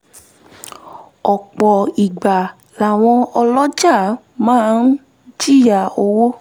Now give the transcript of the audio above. ọ̀pọ̀ ìgbà làwọn ọlọjàà máa ń jìyà owó